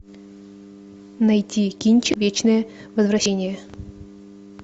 найти кинч вечное возвращение